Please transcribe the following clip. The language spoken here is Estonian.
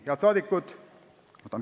Head saadikud!